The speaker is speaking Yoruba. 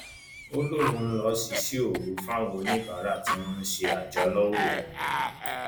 ó lóun lọọ ṣíṣe òru fáwọn oníbàárà tí wọn ń ṣe aájò lọwọ òun ni